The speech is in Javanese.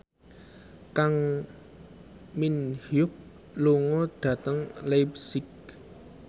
Kang Min Hyuk lunga dhateng leipzig